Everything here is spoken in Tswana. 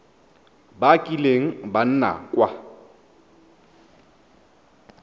ba kileng ba nna kwa